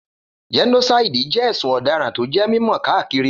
Gẹ́nósáìdì jẹ́ ẹ̀sùn ọ̀daràn tó jẹ́ mímọ̀ káàkiri